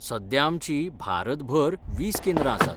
सध्या आमचीं भारतभर वीस केंद्रां आसात.